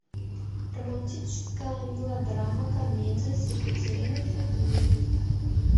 романтическая мелодрама комедия с екатериной федуловой